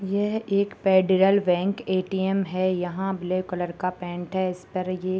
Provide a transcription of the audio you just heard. यह एक federal bank ATM. है यहाँ ब्लैक कलर का पेंट है इस पर ये --